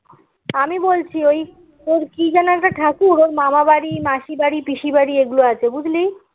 আমি বলছি ওই তোর কি যেন একটা ঠাকুর ওর মামাবাড়ি মাসির বাড়ি পিসির বাড়ি এগুলো আছে বুঝলি